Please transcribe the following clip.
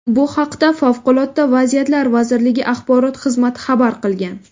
Bu haqda Favqulodda vaziyatlar vazirligi axborot xizmati xabar qilgan .